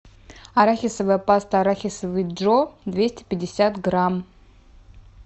арахисовая паста арахисовый джо двести пятьдесят грамм